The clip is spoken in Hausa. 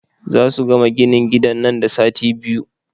Zasu gama ginin gidan nan da sati biyu.